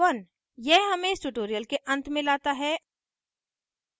यह हमें इस tutorial के अंत में लाता है